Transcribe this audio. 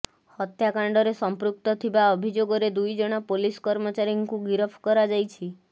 ହତ୍ୟାକାଣ୍ଡରେ ସଂପୃକ୍ତ ଥିବା ଅଭିଯୋଗରେ ଦୁଇଜଣ ପୁଲିସ କର୍ମଚାରୀଙ୍କୁ ଗିରଫ କରାଯାଇଛି